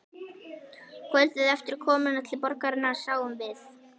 Kvöldið eftir komuna til borgarinnar sáum við